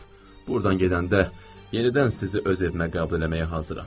Burdan gedəndə yenidən sizi öz evimə qəbul eləməyə hazıram.